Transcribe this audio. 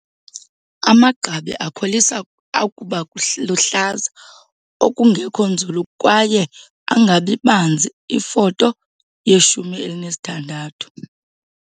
Amagqabi akholisa akuba luhlaza okungekho nzulu kwaye angabi banzi iFoto 16.